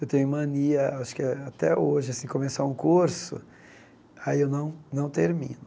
Eu tenho mania, acho que até hoje assim, começar um curso, aí eu não não termino.